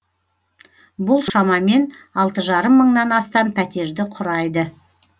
бұл шамамен алты жарым мыңнан астам пәтерді құрайды